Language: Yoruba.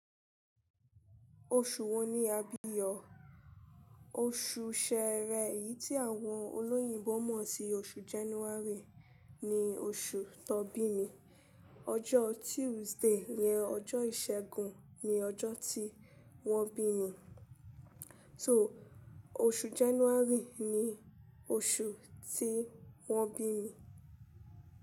Oṣù wo ni a bí ọ? Oṣù Sẹẹrẹ èyí tí àwọn olóyìnbo mọ̀ sí oṣù January ni oṣù tón bí mi. Ọjọ́ Tuesday yẹn, ọjọ́ ìṣẹ́gun ni ọjọ́ tí wọ́n bí mi. So oṣù January ni oṣù tí wọ́n bí mi.